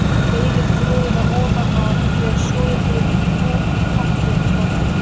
Veiðið froðuna ofan af þegar soðið hefur í pottinum smástund.